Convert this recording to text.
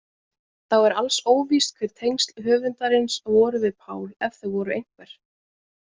Þá er alls óvíst hver tengsl höfundarins voru við Pál ef þau voru einhver.